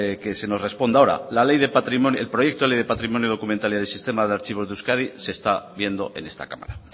que se nos responda ahora la el proyecto de ley de patrimonio documental y sistema de archivos de euskadi se está viendo en esta cámara